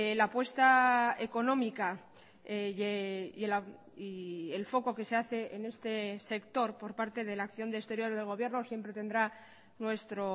la apuesta económica y el foco que se hace en este sector por parte de la acción de exterior del gobierno siempre tendrá nuestro